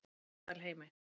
Meðalheimi